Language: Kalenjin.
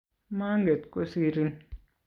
manget kosirin